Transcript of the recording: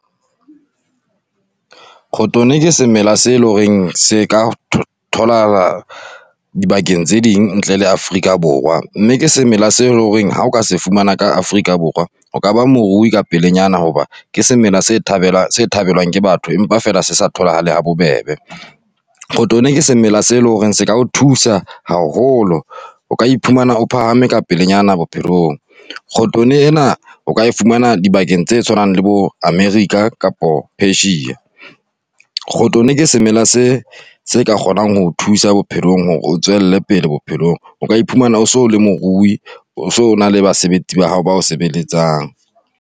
k'hotone ke semela se eleng hore se ka thola tholaha dibakeng tse ding ntle le Afrika Borwa, mme ke semela seo e leng hore ha o ka se fumana ka Afrika Borwa o ka ba morui ka pelenyana, hoba ke semela se thabelwang ke batho empa fela se sa tholahale ha bobebe. k'hotone, ke semela seo e leng hore se ka o thusa haholo, o ka iphumana o phahame ka pelenyana bophelong. k'hotone o ka e fumana dibakeng tse tshwanang le bo America kapa Asia. k'hotone, ke semela se se ka kgonang ho o thusa bophelong hore o tswelle pele bophelong. O ka iphumana o so le morui, o so na le basebetsi ba hao ba o sebeletsang.